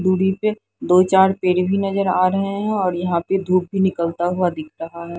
दूरी पे दो चार पेड़ भी नजर आ रहे हैं और यहां पे धूप भी निकलता हुआ दिख रहा है ।